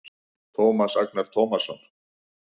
Tómas Agnar Tómasson